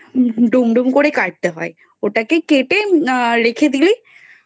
ডুম ডুম করে কাটতে হয় ওটাকে কেটে আহ রেখে দিলেই